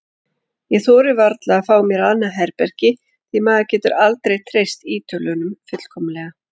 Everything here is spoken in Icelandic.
Ég þori varla að fá mér annað herbergi því maður getur aldrei treyst Ítölunum fullkomlega.